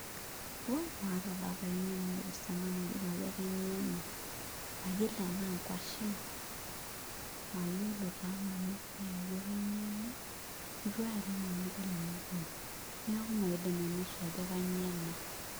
Wooi maata taa pae eng'eno naipirta ena amu mayiolo ajo kainyioo ena mayiolo enaa nkuashen mayiolo taa nanu pii ajo kainyio ena itu aiolong' nanu adol ena toki, neeku maidim ainosu ajo kainyioo ena.